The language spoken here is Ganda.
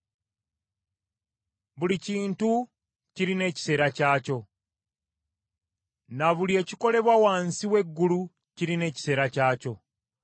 Buli kintu kirina ekiseera kyakyo, na buli ekikolebwa wansi w’eggulu kirina ekiseera kyakyo.